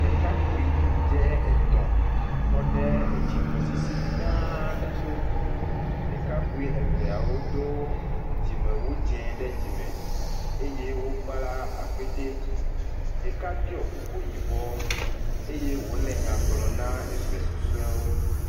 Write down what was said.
Ɖekakpui dzɛ etɔ̃ tɔ ɖe etsi tɔsisi gã aɖe to, ɖeka eveawo do dzimewu dze ɖe dzime eye wokpla akpete, ɖeka ɖɔ kuku yibɔ eye wòle nya gblɔ na eve susɔewo.